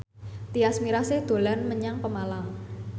Tyas Mirasih dolan menyang Pemalang